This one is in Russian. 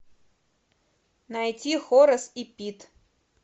найти хорас и пит